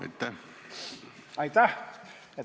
Aitäh!